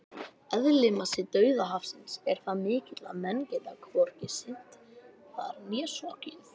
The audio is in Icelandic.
Eðlismassi Dauðahafsins er það mikill að menn geta hvorki synt þar né sokkið!